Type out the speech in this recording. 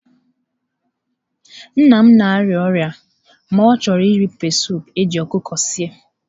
Nna m na-arịa ọrịa ma chọọ iri pepesụpụ eji ọkụkọ sie.